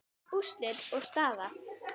Úrslit og staða